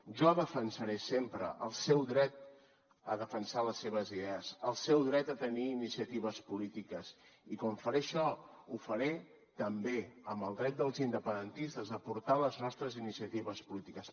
jo defensaré sempre el seu dret a defensar les seves idees el seu dret a tenir iniciatives polítiques i com que faré això ho faré també amb el dret dels independentistes a portar les nostres iniciatives polítiques